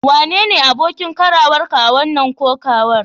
Wane ne abokin karawarka a wasan kokawar?